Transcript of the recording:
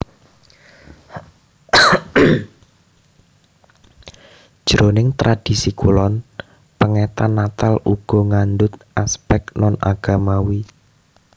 Jroning tradhisi kulon pèngetan Natal uga ngandhut aspèk non agamawi